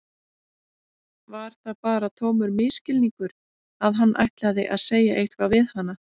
Var það bara tómur misskilningur að hann ætlaði að segja eitthvað við hana?